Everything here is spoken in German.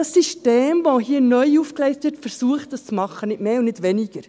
Das System, welches hier neu aufgegleist wird, versucht dies zu tun, nicht mehr und nicht weniger.